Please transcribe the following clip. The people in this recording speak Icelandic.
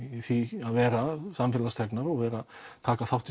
því að vera samfélagsþegnar og vera að taka þátt í